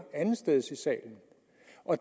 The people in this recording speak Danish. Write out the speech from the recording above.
andetsteds i salen